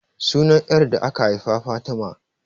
Sunan 'yar da aka haifa Fatima.